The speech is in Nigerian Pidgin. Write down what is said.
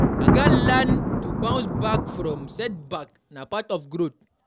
I gats learn to bounce back from setbacks; na part of growth.